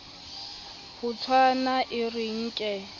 ho tshwana e re nke